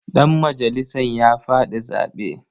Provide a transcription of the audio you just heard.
Ɗanmajalisan ya faɗi zaɓe.